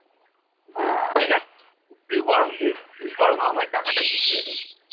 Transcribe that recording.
তুই বরং তুই বরং আমায় টাকাটা মিটিয়ে দে।